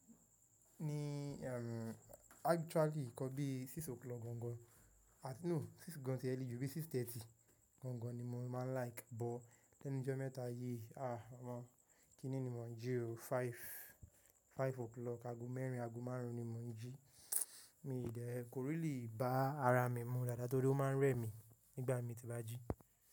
Ní erm actually nkan bi six o’clock gangan, àti no six gán ti early ju bí six thirty gangan ni mo máa ń like. Bọ lẹ́nu jọ́ mẹ́ta yí, ah ọmọ kínní ni mò ń jí o five, five o’clock, ago mẹ́rin, ago márùn-ún ni mò ń jí. Mi dẹ́ kò really bá ara mi mu dáadáa torí ó máa ń rẹ mi nígbà tí mo bá jí.